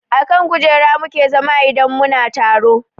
A kan kujera mu ke zama idan mu na taro